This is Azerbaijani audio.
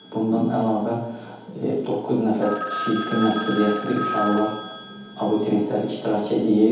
Bundan əlavə doqquz nəfər fiziki məhdudiyyətli uşaqlar abituriyentlər iştirak eləyir.